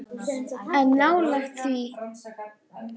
En nálægt því.